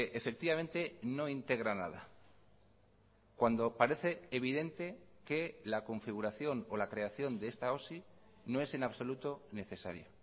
efectivamente no integra nada cuando parece evidente que la configuración o la creación de esta osi no es en absoluto necesaria